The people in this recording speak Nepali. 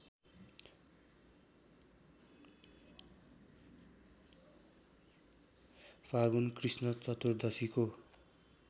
फागुन कृष्ण चतुर्दशीको